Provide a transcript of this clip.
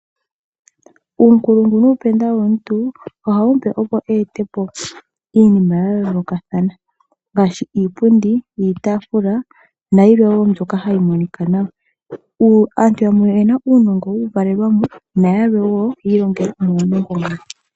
Uunkulungu nuupenda womuntu ohawu mupe opo eetepo iinima yayoolokathana ngaashi iipundi, iitaafula nayilwe wo mbyoka hayi monika nawa. Aantu yamwe oyena uunongo wuuvalelwamo nayamwe wo oyewu longelwa.